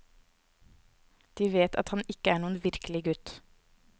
De vet at han ikke er noen virkelig gutt.